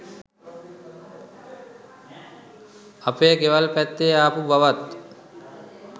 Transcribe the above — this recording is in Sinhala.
අපේ ගෙවල් පැත්තෙ ආපු බවත්